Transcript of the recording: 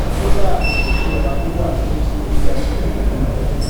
kódàà ipò tí ọrọ ajé wà kéré sí bí a ṣé n wòó lọ